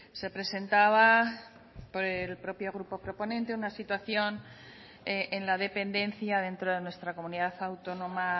se presentaba por el propio grupo proponente una situación en la dependencia dentro de nuestra comunidad autónoma